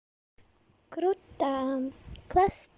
круто класс